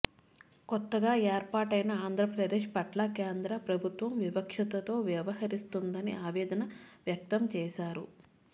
కొత్తగా ఏర్పాటయిన ఆంధ్రప్రదేశ్ పట్ల కేంద్ర ప్రభుత్వం వివక్షతో వ్యవహరిస్తోందని ఆవేదన వ్యక్తం చేశారు